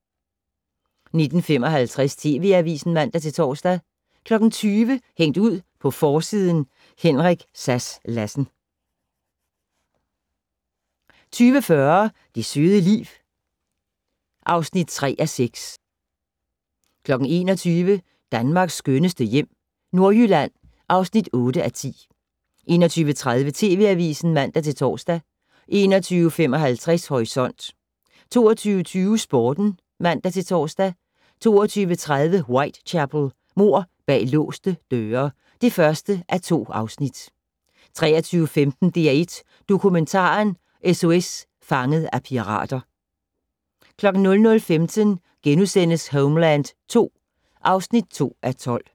19:55: TV Avisen (man-tor) 20:00: Hængt ud på forsiden: Henrik Sass Larsen 20:40: Det søde liv (3:6) 21:00: Danmarks skønneste hjem - Nordjylland (8:10) 21:30: TV Avisen (man-tor) 21:55: Horisont 22:20: Sporten (man-tor) 22:30: Whitechapel: Mord bag låste døre (1:2) 23:15: DR1 Dokumentaren - SOS Fanget af pirater 00:15: Homeland II (2:12)*